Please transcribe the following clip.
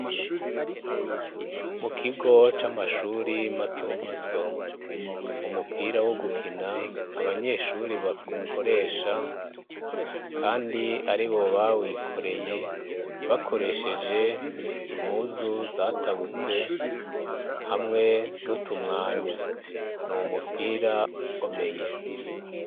Mukigo c'amashuri matomato; Umupira wogukina abanyeshuri bakoresha kandi aribo bawikoreye bakoresheje impuzu zatabutse hamwe n'utumwanya. N'umupira ukomeye.